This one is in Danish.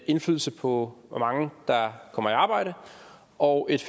indflydelse på hvor mange der kommer i arbejde og et